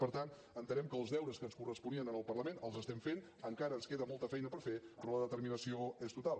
per tant entenem que els deures que ens corresponien al parlament els estem fent encara ens queda molta feina per fer però la determinació és total